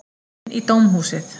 Inn í dómhúsið.